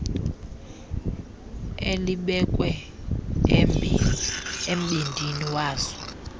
elibekwe embindini wazo